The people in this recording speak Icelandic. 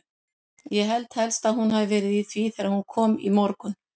Ég held helst að hún hafi verið í því þegar hún kom í morgun.